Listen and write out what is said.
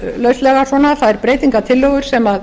lauslega þær breytingartillögur sem